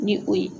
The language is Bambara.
Ni o ye